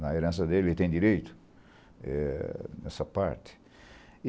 Na herança dele, ele tem direito eh, nessa parte.